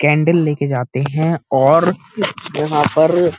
candle लेकर जाते हैं और यहाँ पर --